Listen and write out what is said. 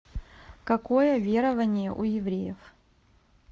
какое верование у евреев